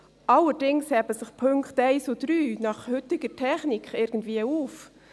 Allerdings heben sich die Punkte 1 und 3 nach heutiger Technik irgendwie auf.